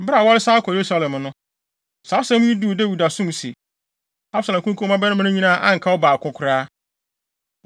Bere a wɔresan akɔ Yerusalem no, saa asɛm yi duu Dawid asom se, “Absalom akunkum wo mmabarima no nyinaa a anka ɔbaako koraa.”